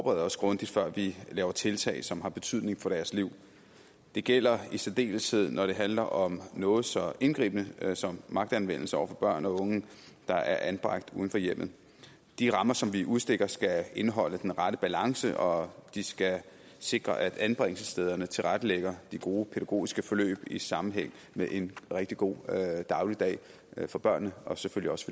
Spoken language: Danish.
os grundigt før vi gør tiltag som har betydning for deres liv det gælder i særdeleshed når det handler om noget så indgribende som magtanvendelse over for børn og unge der er anbragt uden for hjemmet de rammer som vi udstikker skal indeholde den rette balance og de skal sikre at anbringelsesstederne tilrettelægger de gode pædagogiske forløb i sammenhæng med en rigtig god dagligdag for børnene og selvfølgelig også